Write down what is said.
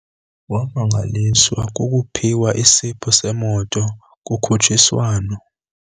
Wamangaliswa kukuphiwa isipho semoto kukhutshiswano.